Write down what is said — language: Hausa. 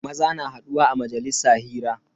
Maza na haduwa a majalisa hira.